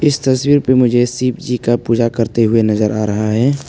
इस तस्वीर पे मुझे शिव जी की पूजा करते हुए नजर आ रहा है।